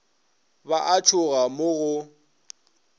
ba a tšhoga mo go